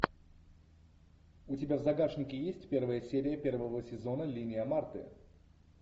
у тебя в загашнике есть первая серия первого сезона линия марты